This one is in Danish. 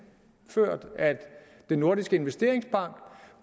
at den nordiske investeringsbank